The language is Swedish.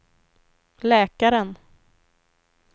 läkaren